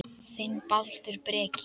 Þinn, Baldur Breki.